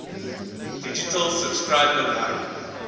digital subscriber line